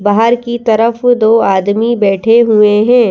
बाहर की तरफ दो आदमी बैठे हुए है।